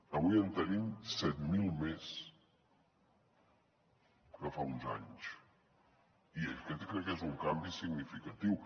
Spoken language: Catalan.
avui en tenim set mil més que fa uns anys i aquest crec que és un canvi significatiu